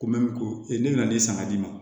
Ko ko e nana ne san ka di ne ma